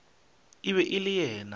e be e le yena